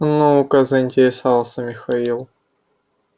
ну-ка заинтересовался михаил